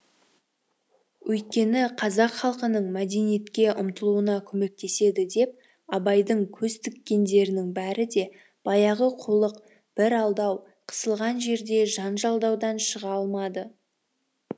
өйткені қазақ халқының мәдениетке ұмытылуына көмектеседі деп абайдың көз тіккендерінің бәрі де баяғы қулық бір алдау қысылған жерде жан жалдаудан шыға алмады